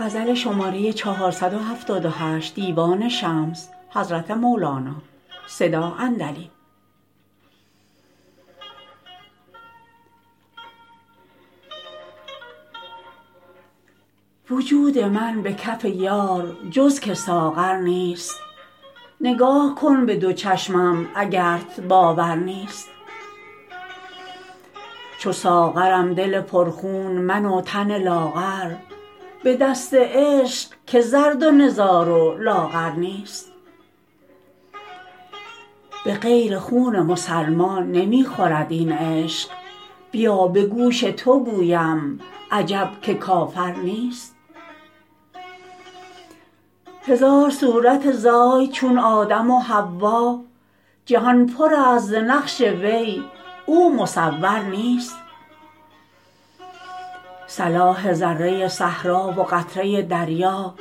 وجود من به کف یار جز که ساغر نیست نگاه کن به دو چشمم اگرت باور نیست چو ساغرم دل پرخون من و تن لاغر به دست عشق که زرد و نزار و لاغر نیست به غیر خون مسلمان نمی خورد این عشق بیا به گوش تو گویم عجب که کافر نیست هزار صورت زاید چو آدم و حوا جهان پرست ز نقش وی او مصور نیست صلاح ذره صحرا و قطره دریا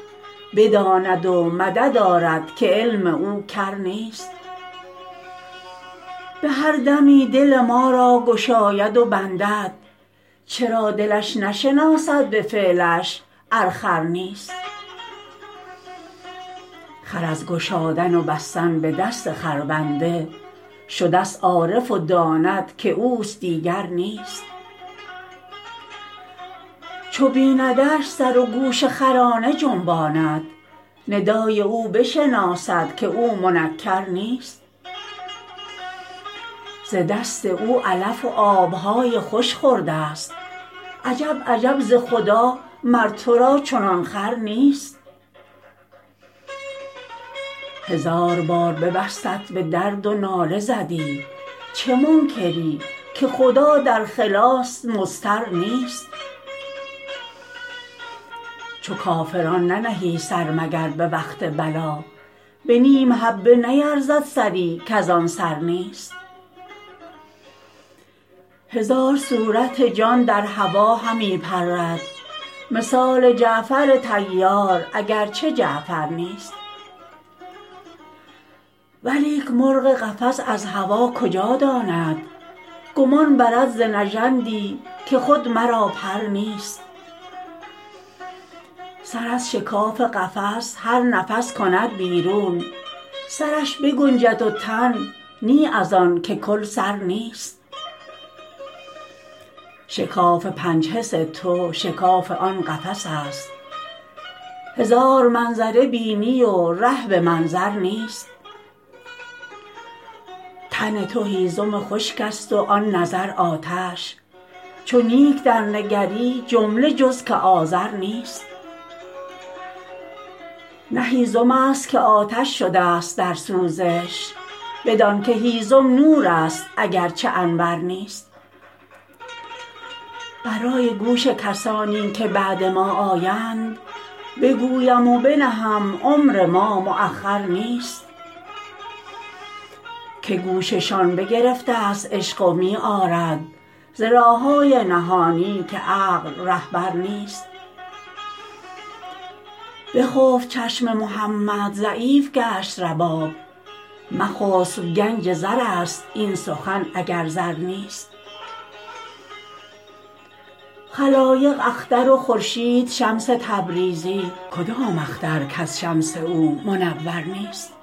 بداند و مدد آرد که علم او کر نیست به هر دمی دل ما را گشاید و بندد چرا دلش نشناسد به فعلش ار خر نیست خر از گشادن و بستن به دست خربنده شدست عارف و داند که اوست دیگر نیست چو بیندش سر و گوش خرانه جنباند ندای او بشناسد که او منکر نیست ز دست او علف و آب های خوش خوردست عجب عجب ز خدا مر تو را چنان خور نیست هزار بار ببستت به درد و ناله زدی چه منکری که خدا در خلاص مضطر نیست چو کافران ننهی سر مگر به وقت بلا به نیم حبه نیرزد سری کز آن سر نیست هزار صورت جان در هوا همی پرد مثال جعفر طیار اگر چه جعفر نیست ولیک مرغ قفس از هوا کجا داند گمان برد ز نژندی که خود مرا پر نیست سر از شکاف قفس هر نفس کند بیرون سرش بگنجد و تن نی از آنک کل سر نیست شکاف پنج حس تو شکاف آن قفس است هزار منظر بینی و ره به منظر نیست تن تو هیزم خشکست و آن نظر آتش چو نیک درنگری جمله جز که آذر نیست نه هیزمست که آتش شدست در سوزش بدانک هیزم نورست اگر چه انور نیست برای گوش کسانی که بعد ما آیند بگویم و بنهم عمر ما مأخر نیست که گوششان بگرفتست عشق و می آرد ز راه های نهانی که عقل رهبر نیست بخفت چشم محمد ضعیف گشت رباب مخسب گنج زرست این سخن اگر زر نیست خلایق اختر و خورشید شمس تبریزی کدام اختر کز شمس او منور نیست